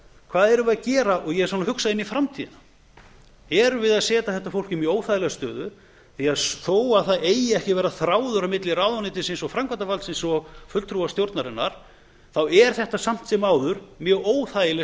hvað erum við að gera og ég svona hugsa inn í framtíðina erum við að setja þetta fólk inn í óþægilega stöðu því þó það eigi ekki að vera þráður á milli ráðuneytisins og framkvæmdarvaldsins og fulltrúa stjórnarinnar þá er þetta samt sem áður mjög óþægileg